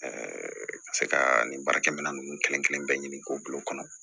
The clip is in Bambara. ka se ka nin baara kɛ minɛn ninnu kelen kelen bɛɛ ɲini k'o bila o kɔnɔ